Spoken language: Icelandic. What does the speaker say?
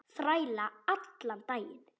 Þræla allan daginn!